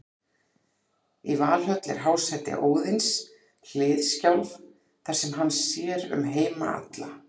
Í Valhöll er hásæti Óðins, Hliðskjálf, þar sem hann sér um heima alla.